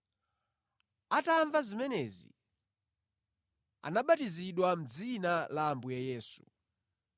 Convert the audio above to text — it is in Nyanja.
Atamva zimenezi, anabatizidwa mʼdzina la Ambuye Yesu.